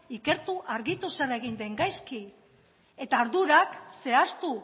ikertu argitu zer egin den gaizki eta ardurak zehaztu